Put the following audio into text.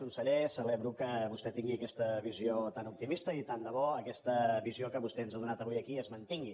conseller celebro que vostè tingui aquesta visió tan optimista i tant de bo aquesta visió que vostè ens ha donat avui aquí es mantingui